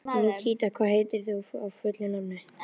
Nikíta, hvað heitir þú fullu nafni?